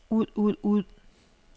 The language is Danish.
ud ud ud